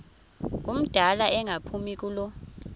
ngumdala engaphumi kulo